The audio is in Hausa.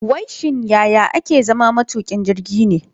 Wai shin yaya ake zama matukin jirgi ne?